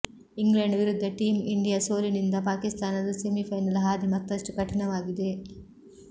England ವಿರುದ್ದ team India ಸೋಲಿನಿಂದ ಪಾಕಿಸ್ತಾನದ ಸೆಮಿಫೈನಲ್ ಹಾದಿ ಮತ್ತಷ್ಟು ಕಠಿಣವಾಗಿದೆ